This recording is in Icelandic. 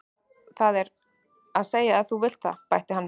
Það er að segja ef þú vilt það, bætti hann við.